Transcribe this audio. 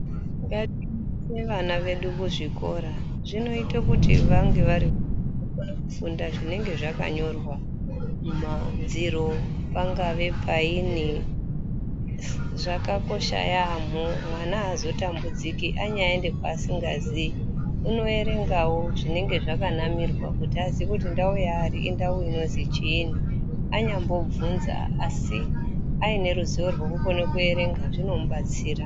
Ngati ve ana edu kuzvikora zvinoite kuti vange vari kone kufunda zvinenge zvakanyorwa mumadziro pangave paini zvakakosha yaamho mwana aazotambudziki anyaaende kwaasingazii unoerengawo zvinenge zvakanamirwa kuti aziye kuti ndau yaari indau inozi chiinyi kuti anyambobvunza asi aine ruzivorwokukone kuerenga zvinomubatsira.